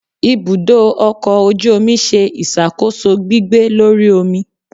Ibudọ ọkọ ojú omí sẹ isakoso gbigbẹ́ Lorí omí